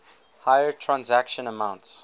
higher transaction amounts